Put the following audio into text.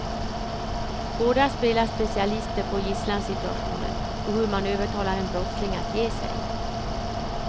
Båda spelar specialister på gisslansituationer och hur man övertalar en brottsling att ge sig.